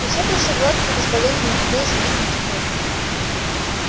и всё прошло гладко и безболезненно хотя и с великим трудом